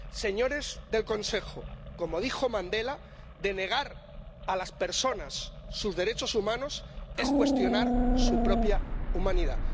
Señores del Consejo, como dijo Nelson Mandela, denegar a las personas sus derechos humanos es cuestionar su propia humanidad.